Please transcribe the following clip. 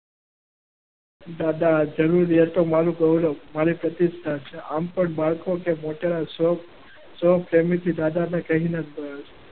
દાદા જરૂરિયાતો મારું ગૌરવ. મારી પ્રતિષ્ઠા છે. આમ પણ મારે કોઈ મોટા શોખ